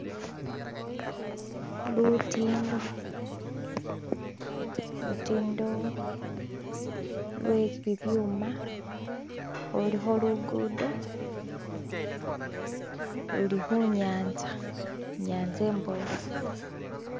lutindo lutindo lwebibyuma lulikho luguudo lulikhunyansta inyatsa imbofu